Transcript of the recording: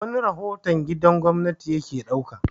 wani rahoton gidan gwamnati ya ke ɗauka